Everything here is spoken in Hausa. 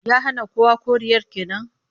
Ya hana kowa koriyar ke nan?